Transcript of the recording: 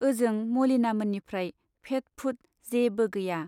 ओजों मलिना मोननिफ्राइ फेट फुट जेबो गैया।